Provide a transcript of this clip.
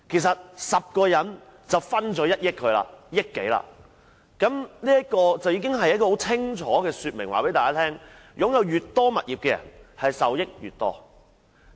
十個人便能分享到1億多元，這已清楚說明，擁有越多物業的人受益越多。